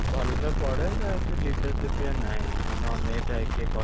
ଭଲସେ ପଢେ ତ ଏତେ leadership ରେ ନାହିଁ, ମାନେ ଅନେଇ ଥାଏ କିଏ